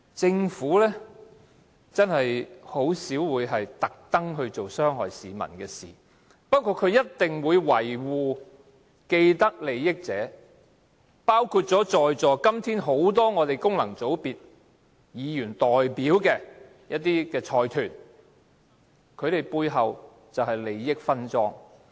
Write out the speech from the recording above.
政府真的很少會故意做傷害市民的事情，不過它一定會維護既得利益者，包括今天在座很多功能界別議員所代表的財團，他們背後便是利益分贓。